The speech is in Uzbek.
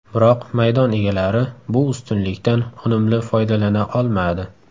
Biroq maydon egalari bu ustunlikdan unumli foydalana olmadi.